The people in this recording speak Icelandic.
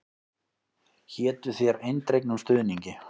Hétu þér eindregnum stuðningi.